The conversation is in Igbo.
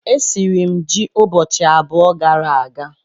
Esiri m ji ụbọchị abụọ gara aga